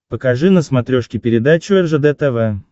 покажи на смотрешке передачу ржд тв